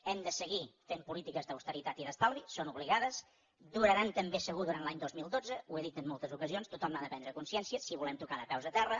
hem de seguir fent polítiques d’austeritat i d’estalvi són obligades duraran també segur durant l’any dos mil dotze ho he dit en moltes ocasions tothom n’ha de prendre consciència si volem tocar de peus a terra